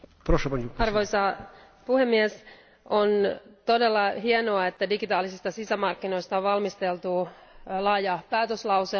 Arvoisa puhemies, on todella hienoa, että digitaalisista sisämarkkinoista on valmisteltu laaja päätöslauselma.